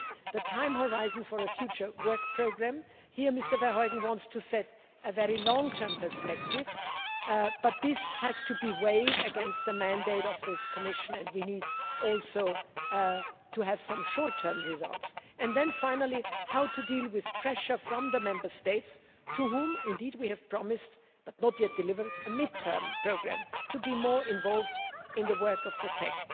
Secondly, the time horizon for a future work programme here Mr Verheugen wants to set a very long term perspective, but this has to be weighed against the mandate of this Commission and we need to have some short term results. Finally, how to deal with pressure from the Member States to whom we have promised, but not yet delivered, a mid term programme to be more involved in the work of the TEC.